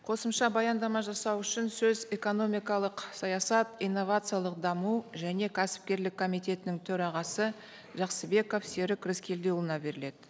қосымша баяндама жасау үшін сөз экономикалық саясат инновациялық даму және кәсіпкерлік комитетінің төрағасы жақсыбеков серік рыскелдіұлына беріледі